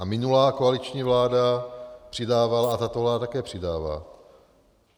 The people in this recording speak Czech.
A minulá koaliční vláda přidávala a tato vláda také přidává.